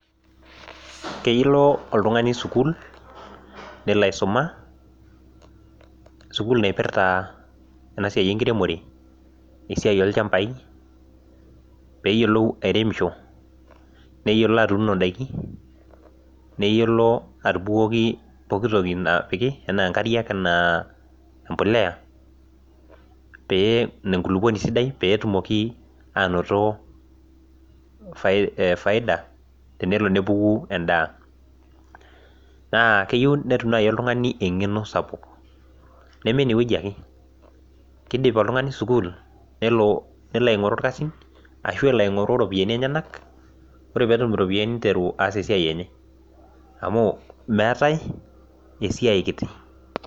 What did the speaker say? Kelo oltungani sukuul, nelo aisuma, sukuul naipirta, ena siai enkiremore, esiai olchampai pee eyiolou airemisho. neyiolo atuuno idaiki. enaalo atubukoki pooki toki nayieri anaa, empuliya pee enkulupuoni sidai, pee etumoki aanoto faida, tenelo nepuku edaa. naa keyieu netum iltunganak eng'eno sapuk. neme ine wueji ake, kidip oltungani sukuul nelo aing'oru irkasin, ashu elo oltungani iropiyiani niteru aas esiai enye. amu, meetae esiai kiti.